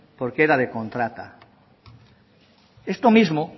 porque era de contrata esto mismo